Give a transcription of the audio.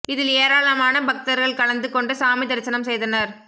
இதில் ஏராளமான பக்தர்கள் கலந்து கொண்டு சாமி தரிசனம் செய்தனர்